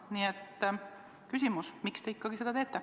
Nii et miks te seda ikkagi teete?